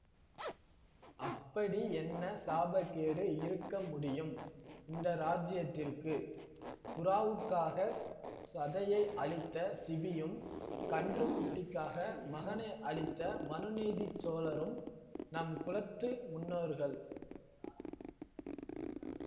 அப்படி என்ன சாபக்கேடு இருக்க முடியும் இந்த ராஜ்யத்திற்கு புறாவுக்காகச் சதையை அளித்த சிபியும் கன்றுக்குட்டிக்காக மகனை அளித்த மனுநீதி சோழரும் நம் குலத்து முன்னோர்கள்